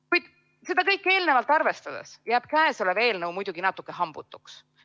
Kuid kõike eelnevat arvestades jääb käesolev eelnõu muidugi natukene hambutuks.